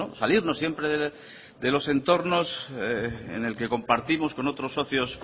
salirnos siempre de los entornos enel que compartimos con otros socios